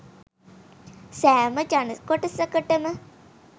සෑම ජන කොටසකටම